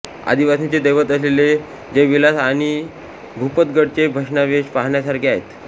आदिवासींचे दैवतअसलेले जयविलास आणि भूपतगडचे भग्नावशेष पाहण्यासारखे आहेत